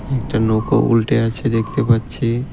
একটা নৌকো উল্টে আছে দেখতে পাচ্ছি ।